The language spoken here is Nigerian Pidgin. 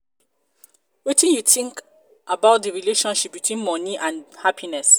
wetin you think about di relationship between money and happiness?